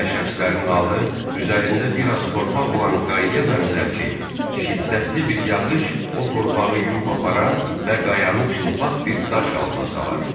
Belə şəxslərin halı üzərində biraz torpaq olan qayıya bənzər ki, şiddətli bir yağış o torpağı yuyub aparar və qayanı çılpaq bir daş alına salar.